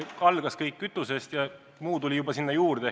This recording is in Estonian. Algas kõik kütusest ja muu tuli sinna juurde.